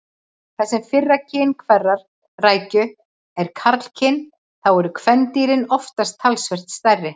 Þar sem fyrra kyn hverrar rækju er karlkyn þá eru kvendýrin oftast talsvert stærri.